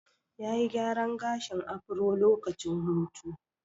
Ya yi gyaran gashin afro lokacin hutu.